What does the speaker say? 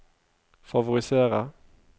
favorisere